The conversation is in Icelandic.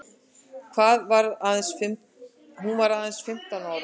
Hún varð aðeins fimmtán ára.